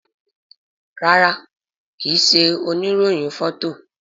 ràrá ki ṣe òní rohin Fọto.